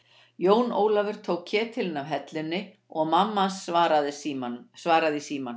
Jón Ólafur tók ketilinn af hellunni og mammahans svaraði í símann.